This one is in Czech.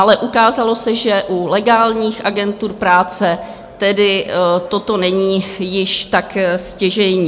Ale ukázalo se, že u legálních agentur práce tedy toto není již tak stěžejní.